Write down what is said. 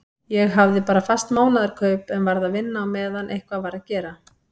Ég hafði bara fast mánaðarkaup en varð að vinna á meðan eitthvað var að gera.